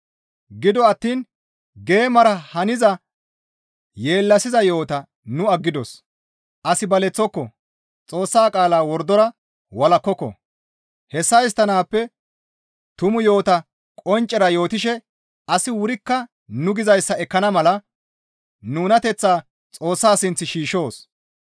Gido attiin geemara haniza yeellasiza yo7ota nu aggidos; as baleththoko; Xoossa qaalaa wordora walakkoko; hessa histtanaappe tumu yo7ota qonccera yootishe asi wurikka nu gizayssa ekkana mala nunateththaa Xoossa sinth shiishshoos.